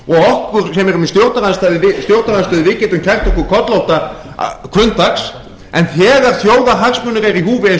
og okkur sem erum í stjórnarandstöðu við getum kært okkur kollótt hvunndags en þegar þjóðarhagsmunir eru í húfi eins og